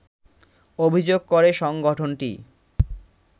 অভিযোগ করে সংগঠনটি